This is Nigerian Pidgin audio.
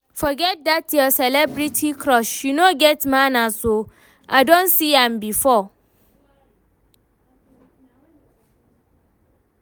Forget dat your celebrity crush, she no get manners oo. I don see am before